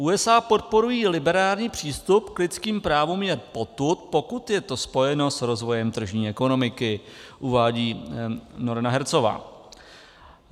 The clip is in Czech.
USA podporují liberální přístup k lidským právům jen potud, pokud je to spojeno s rozvojem tržní ekonomiky, uvádí Noreena Hertzová.